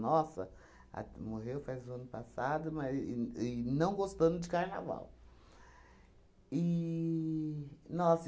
Nossa, a morreu faz o ano passado, mas e e não gostando de carnaval. E nossa